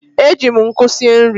E ji m nkụ sie nri.